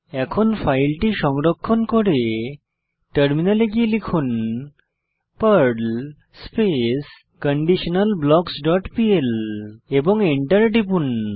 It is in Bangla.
এখন ফাইলটি সংরক্ষণ করে টার্মিনালে গিয়ে লিখুন Perl space conditional blocks dot PL এবং এন্টার টিপুন